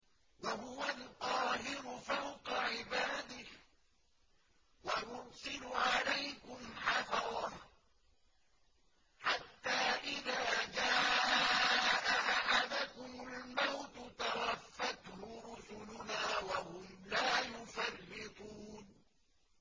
وَهُوَ الْقَاهِرُ فَوْقَ عِبَادِهِ ۖ وَيُرْسِلُ عَلَيْكُمْ حَفَظَةً حَتَّىٰ إِذَا جَاءَ أَحَدَكُمُ الْمَوْتُ تَوَفَّتْهُ رُسُلُنَا وَهُمْ لَا يُفَرِّطُونَ